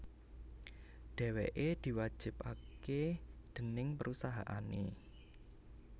Dhèwèké diwajibaké déning perusahané